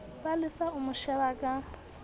palesa o mo sheba ka